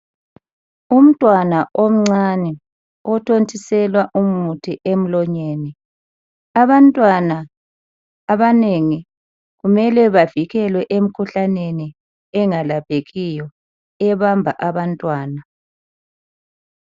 Umntwana omncane, othontiselwa umuthi emlonyeni. Abantwana abanengi kumele bavikelwe em'khuhlaneni engalaphekiyo ebamba abantwana.